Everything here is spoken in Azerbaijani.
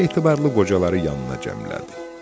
Etibarlı qocaları yanına cəmlədi.